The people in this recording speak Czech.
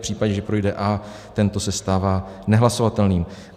V případě, že projde A, tento se stává nehlasovatelným.